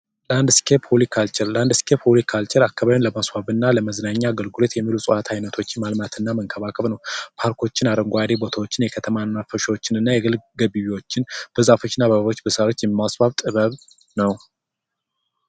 ላንድ ስኬፕ ሆሪካልቸር ላንድ ስኬፕ ሆሪካርቸል አካባቢን ለማስዋብ እና እና ለመዝናኛ አገልግሎት የሚውሉ እፅዋቶችን አይቶተችን ማምረት እና መንከባከብ ነው። ፓርኮችን፣ አረንጓዴ ቦታዎችን እና የከተማ መናፈሻዎችን እና የግል ገቢዎችን በዛፎች እና በአበቦች የማስዋብ ጥበብ ነው።